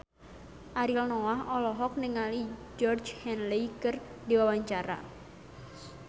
Ariel Noah olohok ningali Georgie Henley keur diwawancara